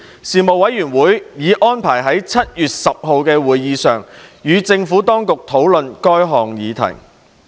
事務委員會已安排於7月10日的會議上與政府當局討論這項議題。